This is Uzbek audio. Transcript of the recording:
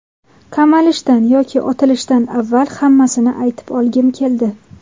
Qamalishdan yoki otilishdan avval hammasini aytib olgim keldi.